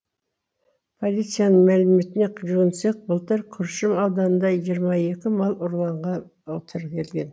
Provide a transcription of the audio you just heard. полицияның мәліметіне жүгінсек былтыр күршім ауданында жиырма екі мал ұрлыға тіркелген